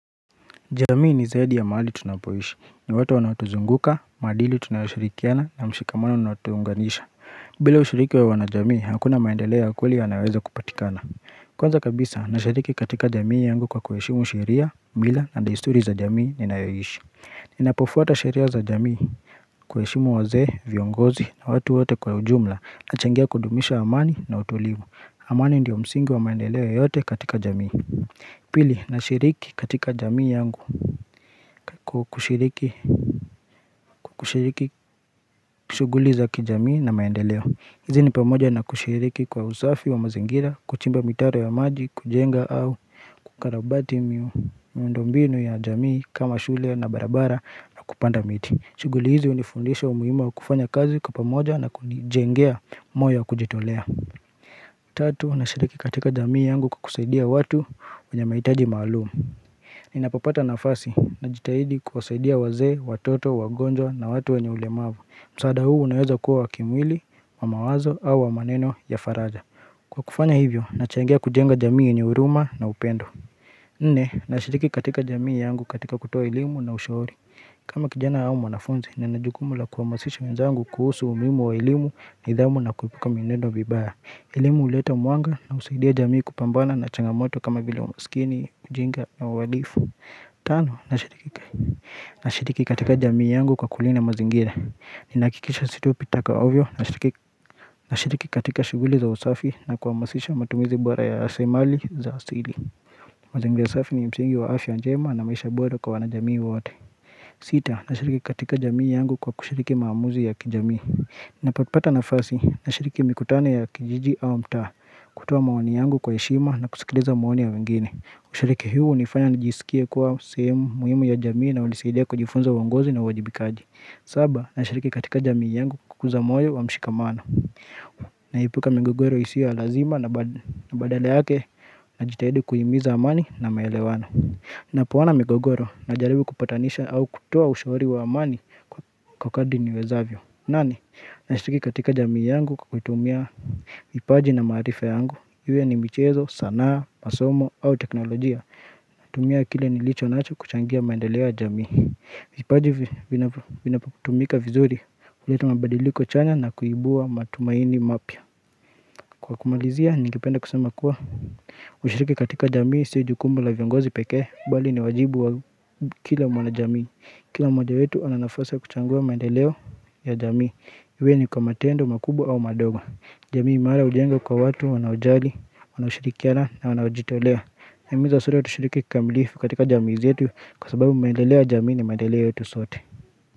Jamii ni zaidi ya mahali tunapoishi ni watu wanaotuzunguka maadili tunayoshirikiana na mshikamano unaotuunganisha bila ushiriki wa wana jamii hakuna maendeleo ya kweli yanaweza kupatikana Kwanza kabisa na shiriki katika jamii yangu kwa kuheshimu sheria mila na desturi za jamii ninayoishi Ninapofuata shiria za jamii kuheshimu wazee viongozi na watu wote kwa ujumla na changia kudumisha amani na utulivu amani ndiyo msingi wa maendelea yoyote katika jamii Pili, na shiriki katika jamii yangu kushiriki kushiriki shuguli zakijamii na maendeleo. Hizi ni pamoja na kushiriki kwa usafi wa mazingira, kuchimba mitaro ya maji, kujenga au kukarabati miundombinu ya jamii kama shule na barabara na kupanda miti. Shughuli hizi hunifundisha umuhimu wa kufanya kazi kwapamoja na kunijengea moyo wa kujitolea. Tatu, na shiriki katika jamii yangu kwa kusaidia watu wenye mahitaji maalumu. Ninapopata nafasi na jitahidi kuwasaidia waze, watoto, wagonjwa na watu wenye ulemavu msaada huu unaweza kuwa wa kimwili, wa mawazo au wa maneno ya faraja Kwa kufanya hivyo, nachangia kujenga jamii yenye huruma na upendo Nne, nashiriki katika jamii yangu katika kutoa elimu na ushauri kama kijana au mwanafunzi, ninajukumu la kuhamasisha wenzangu kuhusu umuhimu wa elimu ni dhamu na kuepuka mienendo mibaya elimu huleta mwanga na husaidia jamii kupambana na changamoto kama vile umasikini, ujinga na uhalifu Tano, nashiriki katika jamii yangu kwa kulinda mazingira Ninahakikisha situpi taka ovyo, nashiriki katika shughuli za usafi na kuwahamasisha matumizi bora ya rasilimali za asili mazingira safi ni msingi wa afya wa njema na maisha bora kwa wanajamii wote Sita, nashiriki katika jamii yangu kwa kushiriki maamuzi ya kijamii Napopata nafasi na shiriki mikutano ya kijiji au mtaa kutoa maoni yangu kwa heshima na kusikiliza maoni ya wengine Ushiriki huu hunifanya najisikie kuwa sehemu muhimu ya jamii na hunisaidia kujifunza uongozi na uwajibikaji saba na shiriki katika jamii yangu kukuza moyo wa mshikamano na epuka migogoro isiyo ya lazima na badale yake na jitahidi kuhimiza amani na maelewano na poona migogoro na jaribu kupatanisha au kutoa ushauri wa amani kwa kadri niwezavyo nami, nashiriki katika jamii yangu kwa kuitumia vipaji na maarifa yangu Iwe ni michezo, sanaa, masomo au teknolojia Natumia kile nilicho nacho kuchangia maendeleo ya jamii vipaji vinapotumika vizuri huletu mabadiliko chanya na kuibua matumaini mapya Kwa kumalizia, ningependa kusema kuwa kushiriki katika jamii, si jukumu la viongozi pekee Bali ni wajibu wa kila mwana jamii Kila mmoja wetu ana nafasi kuchangua maendeleo ya jamii Iwe ni kwa matendo, makubwa au madogo. Jamii imara hujengwa kwa watu, wanaojali, wanaoshirikiana na wanaojitolea. Nahimiza sote tushiriki kikamilifu katika jamii zetu kwa sababu maendeleo ya jamii ni maendeleo yetu sote.